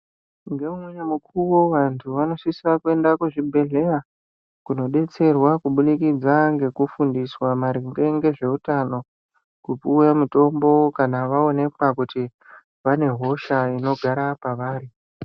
Ngeumweni mukuwo vantu vanosisa kuenda kuzvibhedhleya kunodetserwa kuburikidza ngekufunduswa maringe ngezveutano, kupuwe mutombo kana vaonekwa kuti vanehosha inogara pavari.